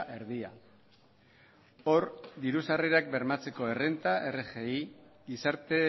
erdia hor diru sarrerak bermatzeko errenta rgi gizarte